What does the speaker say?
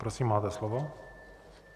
Prosím, máte slovo.